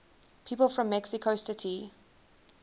people from mexico city